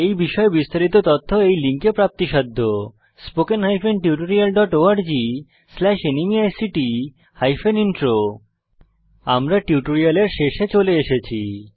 এই বিষয়ে বিস্তারিত তথ্য এই লিঙ্কে প্রাপ্তিসাধ্য httpspoken tutorialorgNMEICT Intro আমরা টিউটোরিয়ালের শেষে চলে এসেছি